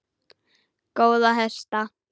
Góða hesta!